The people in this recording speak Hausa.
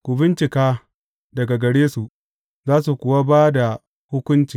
Ku bincika daga gare su, za su kuwa ba da hukunci.